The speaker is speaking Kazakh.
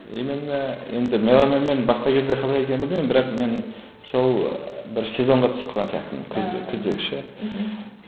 именно енді меломанмен басқа кезде қалай екенін білмеймін бірақ мен сол бір сезонға түсіп калған сияқтымын күзде күздегі ше мхм